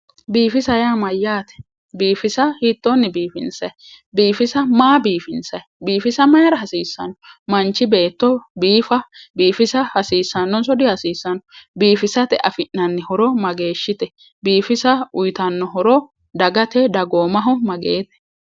Biifisa yaa maayate ,biifisa hiittonni biifinsanni ,biifisa maa biifinsani ,biifisa mayra hasiisano, manchi beetto biifissa ,hasiisanonso dihasiisano ,biifissate affi'nanni horo mageeshshite, biifissa uyittano horo dagate dagoommaho mageete?